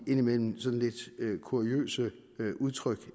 indimellem kuriøse udtryk